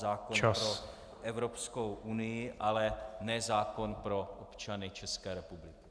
Zákon pro Evropskou unii, ale ne zákon pro občany České republiky.